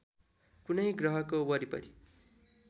कुनै ग्रहको वरिपरि